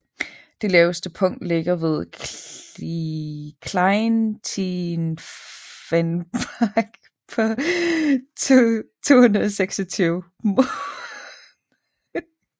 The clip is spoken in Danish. Det laveste punkt ligger ved Kleintiefenbach på 226 moh